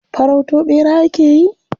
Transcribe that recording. Farauto ɓera ake yi?